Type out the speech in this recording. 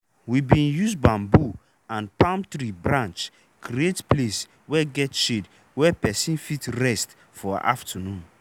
we bin use bamboo and palm tree branch create place wey get shade wey person fit rest for aftanoon.